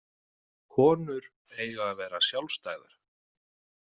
Konur eiga að vera sjálfstæðar.